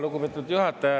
Lugupeetud juhataja!